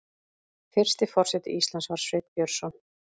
Fyrsti forseti Íslands var Sveinn Björnsson.